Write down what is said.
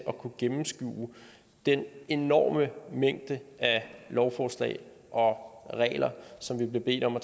at kunne gennemskue den enorme mængde af lovforslag og regler som vi bliver bedt om at